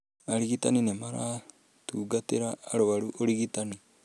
Arigitani nĩ marutagĩra arũaru ũrigitani.